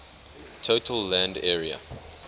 total land area